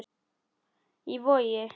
Í Vogi.